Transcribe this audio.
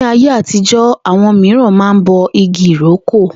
Ní ayé àtijó̩, àwo̩n mìíràn máa ń bo igi ìrókò